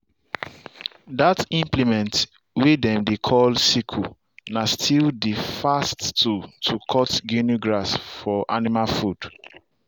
that implement way dem dey call sickle na still the fast tool to cut guinea grass for animal food.